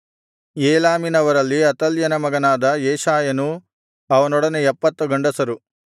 ಏಲಾಮಿನವರಲ್ಲಿ ಅತಲ್ಯನ ಮಗನಾದ ಯೆಶಾಯನೂ ಅವನೊಡನೆ 70 ಗಂಡಸರು